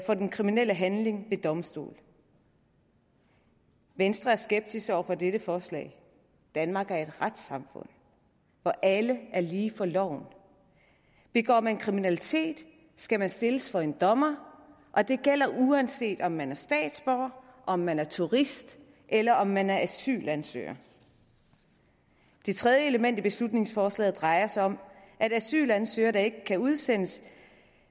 for den kriminelle handling ved en domstol venstre er skeptisk over for dette forslag danmark er et retssamfund hvor alle er lige for loven begår man kriminalitet skal man stilles for en dommer og det gælder uanset om man er statsborger om man er turist eller om man er asylansøger det tredje element i beslutningsforslaget drejer sig om at asylansøgere der ikke kan udsendes